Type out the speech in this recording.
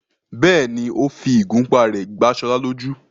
bẹ́ẹ̀ni, ó fi ìgúnpá rẹ̀ gbá Ṣọlá lójú.